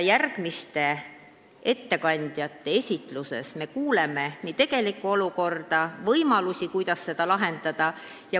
Järgmiste ettekandjate esitluses me kuuleme nii seda, milline on tegelik olukord, kui ka seda, millised on võimalused seda lahendada.